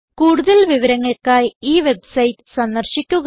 കൂടുതൽ വിവരങ്ങൾക്കായി ഈ വെബ്സൈറ്റ് സന്ദർശിക്കുക